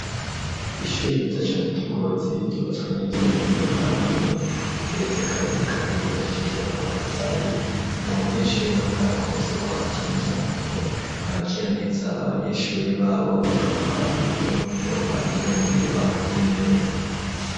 Ishuri ryiza cane ry'i Ngozi, ryubatswe neza mu buhinga bwa none rigeretse kabiri, kandi ryubakishije amatafari, ata munyeshuri n'umwe akunze kuhatinya, kuko bakira neza abanyeshuri babo, bakabaha n'umwimbu uhagije, mu gihe bakoze neza.